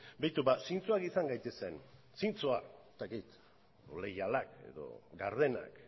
begiratu ba zintzoak izan gaitezen zintzoak edo ez dakit leialak gardenak